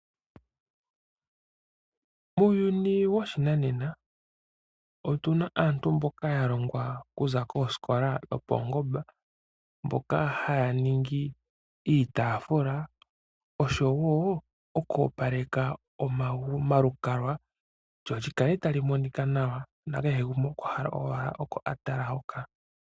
Muuyuni woshinanena otu na aantu mboka ya longwa oku za kosikola dhopaungomba. Mboka haya ningi iitafula oshowo oku opaleka omalukalwa. Lyo lyi kale ta li monika nawa, na kehe gumwe okwa hala owala oko a tala hoka.